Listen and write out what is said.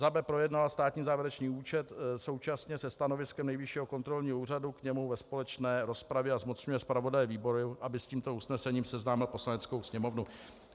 B. projednala státní závěrečný účet současně se stanoviskem Nejvyššího kontrolního úřadu k němu ve společné rozpravě, a zmocňuje zpravodaje výboru, aby s tímto usnesením seznámil Poslaneckou sněmovnu.